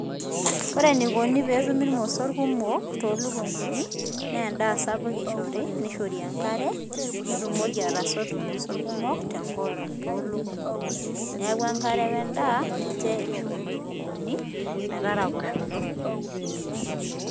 ore eneikoni pee etumi irmosor kumok, too lukunkuni? naa endaa sapuk eishori neishori enkare, nitumoki atasotu irmosor kumok te nkolong' too ilukunkuni. Neaku enkare we endaa ninche eishori ilukunkuni metaraposhoto.